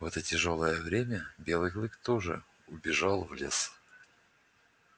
в это тяжёлое время белый клык тоже убежал в лес